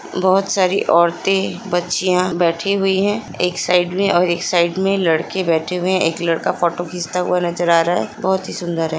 बहोत सारी औरते बच्चियां बैठी हुई है एक साइड में और एक साइड में लड़के बैठे हुए है एक लड़का फोटो खींचता हुआ नज़र आ रहा है बहोत ही सुन्दर है।